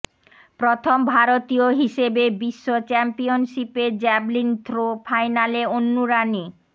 প্রথম ভারতীয় হিসেবে বিশ্ব চ্যাম্পিয়নশিপের জ্যাভলিন থ্রো ফাইনালে অন্নু রানি